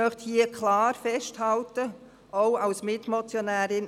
Ich möchte hier klar festhalten, auch als Mitmotionärin: